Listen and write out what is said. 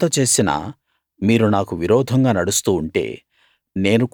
ఇంత చేసినా మీరు నాకు విరోధంగా నడుస్తూ ఉంటే